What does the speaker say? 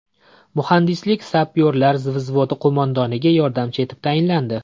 Muhandislik-sapyorlar vzvodi qo‘mondoniga yordamchi etib tayinlandi.